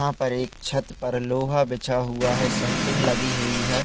यहाँ पर एक छत पर लोहा बिछा हुआ है सेनटींग लगी हुई है।